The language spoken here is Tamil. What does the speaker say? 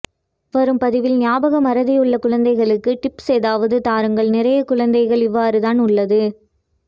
வரும் பதிவில் ஞாபகமறதியுள்ள குழந்தைகளுக்கு டிப்ஸ் ஏதாவது தாருங்கள் நிறைய குழந்தைகள் இவ்வாறுதான் உள்ளது